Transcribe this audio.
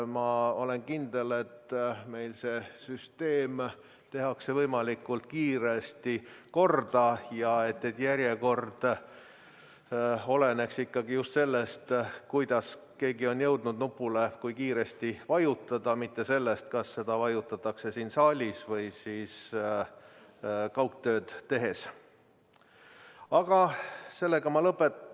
Ma olen kindel, et see süsteem tehakse võimalikult kiiresti korda, et järjekord oleneks ikkagi just sellest, kui kiiresti keegi on jõudnud nuppu vajutada, mitte sellest, kas seda vajutatakse siin saalis või kaugtööd tehes.